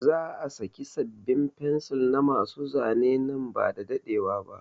Za a saki sabin fencil na ma su Zane nan bada daɗewa ba